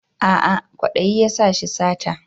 A'a kwadayi ya sa shi sata